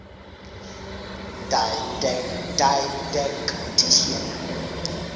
didactician